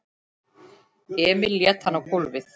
Emil lét hann á gólfið.